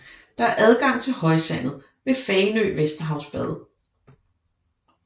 Der er adgang til højsandet ved Fanø Vesterhavsbad